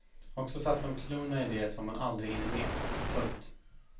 Och så satte hon klorna i det som man aldrig hinner med. punkt